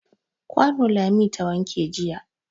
Kwano Lami ta wanke jiya.